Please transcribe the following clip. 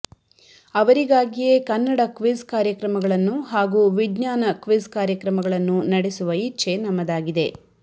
ಅವರಿಗಾಗಿಯೇ Kannada quiz ಕಾರ್ಯಕ್ರಮಗಳನ್ನು ಹಾಗೂ ವಿಜ್ಞಾನ ಕ್ವಿಜ್ ಕಾರ್ಯಕ್ರಮಗಳನ್ನು ನಡೆಸುವ ಇಚ್ಛೆ ನಮ್ಮದಾಗಿದೆ